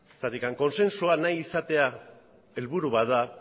zergatik kontsensua nahi izatea helburua bat da